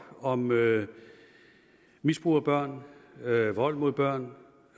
om misbrug af børn vold mod børn